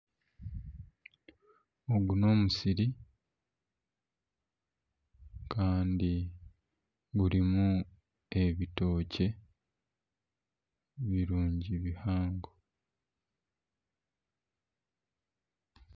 Ogu n'omusiri kandi gurimu ebitookye birungi bihango.